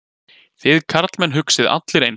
Þið karlmenn hugsið allir eins.